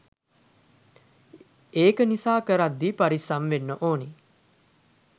එක නිසාකරද්දී පරිස්සම් වෙන්න ඕන